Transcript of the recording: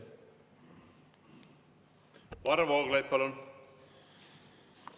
Varro Vooglaid, palun!